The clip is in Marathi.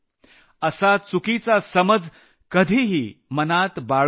असा चुकीचा समज कधीही मनात बाळगू नका